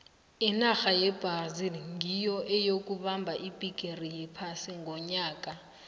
inarha yebrazil nyiyo eyokubamba ibhigiri yephasi ngonyaka ka